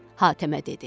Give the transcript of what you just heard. Hatəmə dedi.